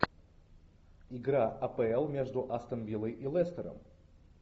игра апл между астон виллой и лестером